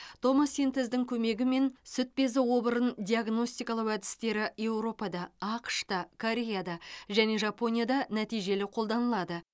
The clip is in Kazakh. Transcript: томосинтездің көмегімен сүт безі обырын диагностикалау әдістері еуропада ақш та кореяда және жапонияда нәтижелі қолданылады